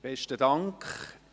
Besten Dank.